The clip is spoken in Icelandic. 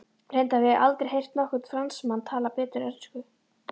Reyndar hef ég aldrei heyrt nokkurn Fransmann tala betur ensku.